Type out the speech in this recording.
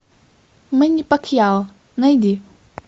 мэнни пакьяо найди